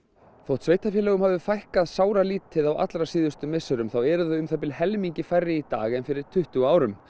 þótt sveitarfélögum hafi fækkað sáralítið á allra síðustu misserum þá eru þau um helmingi færri í dag en fyrir tuttugu árum